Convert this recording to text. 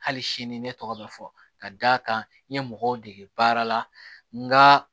Hali sini ne tɔgɔ bɛ fɔ ka d'a kan n ye mɔgɔw dege baara la nka